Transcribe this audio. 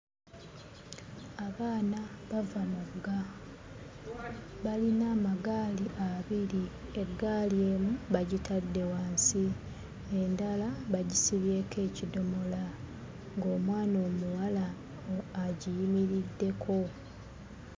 Abaana bava mugga. Balina amagaali abiri, eggaali emu bagitadde wansi, endala bagisibyeko ekidomola ng'omwana omuwala agiyimiriddeko.